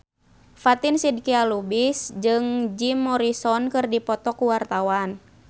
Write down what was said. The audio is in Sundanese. Fatin Shidqia Lubis jeung Jim Morrison keur dipoto ku wartawan